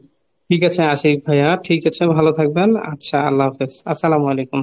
ঠিক আছে, আশিক ভাইয়া ঠিক আছে ভালো থাকবেন আচ্ছা আল্লাহ হাফিজ, আসসালামু আলাইকুম।